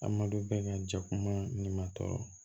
Adamaden bɛɛ ka jɛkuma ni ma tɔɔrɔ